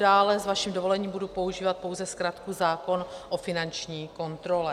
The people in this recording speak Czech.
Dále s vaším dovolením budu používat pouze zkratku zákon o finanční kontrole.